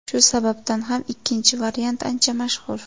Shu sababdan ham ikkinchi variant ancha mashhur.